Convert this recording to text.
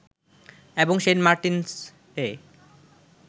এবং সেন্ট মার্টিনসে